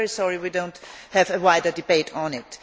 I am also very sorry we do not have a wider debate on it.